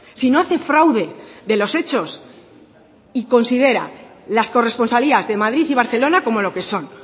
sino hace fraude de los hechos y considera las corresponsalías de madrid y barcelona como lo que son